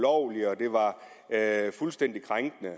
at og fuldstændig krænkende